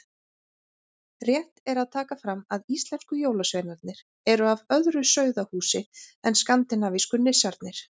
Rétt er að taka fram að íslensku jólasveinarnir eru af öðru sauðahúsi en skandinavísku nissarnir.